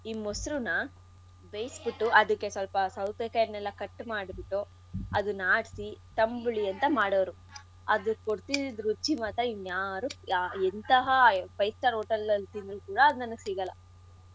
ಈ ಮೊಸ್ರುನ ಬೇಯಿಸ್ಬುಟ್ಟು ಅದಿಕ್ಕೆ ಸ್ವಲ್ಪ ಸವತೆಕಾಯಿನೆಲ್ಲಾ cut ಮಾಡ್ಬುಟ್ಟು ಅದನ್ ಆಡ್ಸಿ ತಂಬುಳಿ ಅಂತ ಮಾಡೋರು. ಅದ್ ಕೊಡ್ತಿದಿದ್ ರುಚಿ ಮಾತ್ರ ಇನ್ ಯಾರೂ ಎಂಥಹ five star hotel ಅಲ್ ತಿಂದ್ರು ಕೂಡ ಅದು ಸಿಗಲ್ಲ.